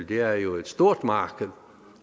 det er jo et stort marked